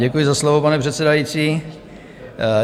Děkuji za slovo, pane předsedající.